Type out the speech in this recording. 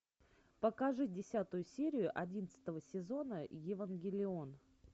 покажи десятую серию одиннадцатого сезона евангелион